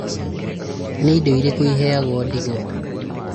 Nĩ indo irĩkũ iheagwo ndigwa?